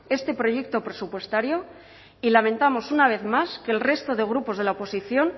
este proyecto presupuestario y lamentamos una vez más que el resto de grupos de la oposición